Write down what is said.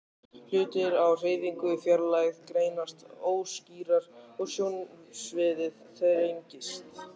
Hlutir á hreyfingu í fjarlægð greinast óskýrar og sjónsviðið þrengist.